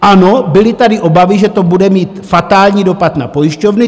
Ano, byly tady obavy, že to bude mít fatální dopad na pojišťovny.